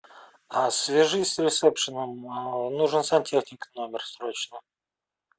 а свяжись с ресепшеном нужен сантехник в номер срочно